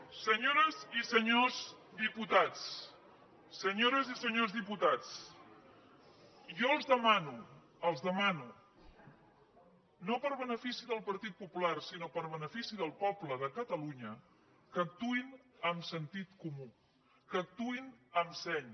senyores i senyors diputats senyores i senyors diputats jo els demano els ho demano no per benefici del partit popular sinó per benefici del poble de catalunya que actuïn amb sentit comú que actuïn amb seny